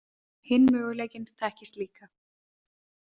Hinn möguleikinn þekkist líka.